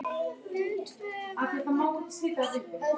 Viðtöl verða við gamla sjóara.